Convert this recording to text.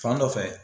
Fan dɔ fɛ